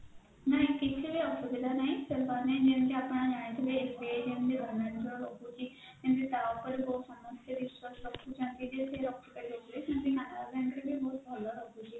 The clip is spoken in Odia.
ନା କିଛ ବି ଅସୁବିଧା ନାହିଁ ସେମାନେ ସେମାନେ ଯେମତି ଆପଣ ଜାଣିଥିବେ ଏବେ ଯେମତି govt ର ରହୁଛି ଯେମତି ତ ଉପରେ ବହୁତ ସମସ୍ତେ ବିଶ୍ବାସ ରଖୁଛନ୍ତି ଯେ ସେ ରଖିପାରିବ ବୋଲି ସେମତି canara bank ରେ ବ ବହୁତ ଭଲ ରହୁଛି